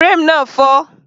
Frame náà fọ́